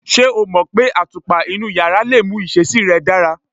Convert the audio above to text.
Ṣé o mọ̀ pé àtùpà inú yàrá lè mú ìṣesí rẹ̀ dára?